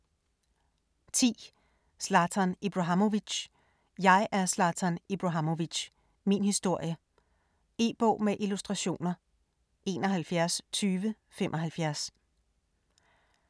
10. Ibrahimovic, Zlatan: Jeg er Zlatan Ibrahimović: min historie E-bog med illustrationer 712075